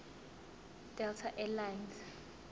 delta air lines